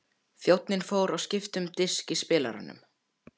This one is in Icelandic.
Þjónninn fór og skipti um disk í spilaranum.